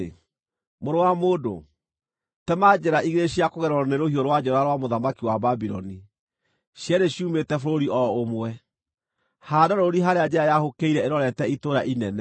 “Mũrũ wa mũndũ, tema njĩra igĩrĩ cia kũgererwo nĩ rũhiũ rwa njora rwa mũthamaki wa Babuloni, cierĩ ciumĩte bũrũri o ũmwe. Haanda rũũri harĩa njĩra yahũkĩire ĩrorete itũũra inene.